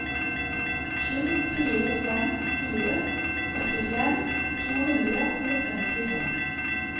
sju fire fem fire åttifem to hundre og femtifem